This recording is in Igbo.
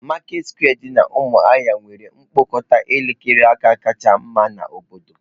Maketị sekwe dị na umuahia nwere mkpokọta elekere aka kacha mma n'obodo